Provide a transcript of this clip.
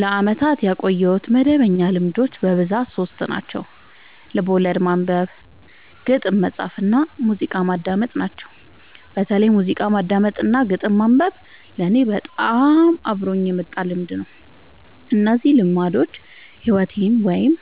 ለአመታት ያቆየሁት መደበኛ ልማዶች በብዛት ሶስት ናቸው። ልቦለድ ማንበብ፣ ግጥም መፃፍ እና ሙዚቃ ማዳመጥ ናቸው። በተለይ ሙዚቃ ማዳመጥ እና ግጥም ማንበብ ለኔ በጣም አብሮኝ የመጣ ልምድ ነው። እነዚህ ልማዶች ሕይወቴን ወይም